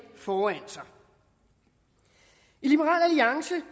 foran sig i liberal alliance